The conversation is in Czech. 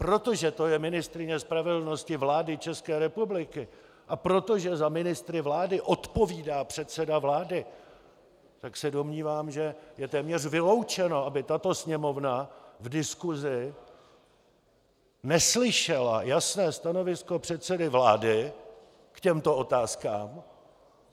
Protože to je ministryně spravedlnosti vlády České republiky a protože za ministry vlády odpovídá předseda vlády, tak se domnívám, že je téměř vyloučeno, aby tato Sněmovna v diskusi neslyšela jasné stanovisko předsedy vlády k těmto otázkám.